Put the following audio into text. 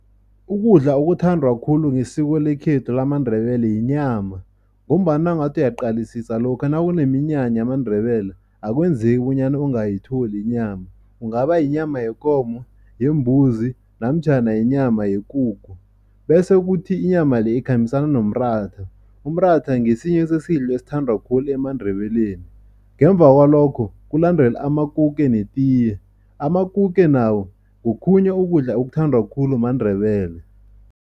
Ukudla okuthandwa khulu ngesiko lekhethu lamaNdebele yinyama ngombana nawungathi uyaqalisisa lokha nakuneminyanya yamaNdebele, akwenzeki bonyana ungayithola inyama. Kungaba yinyama yekomo, yembuzi namtjhana inyama yekukhu bese kuthi inyama le ikhambisana nomratha. Umratha ngesinye sesidlo esithandwa khulu emaNdebeleni. Ngemva kwalokho kulandele amakuke netiye. Amakuke nawe ngokhunye ukudla okuthandwa khulu maNdebele.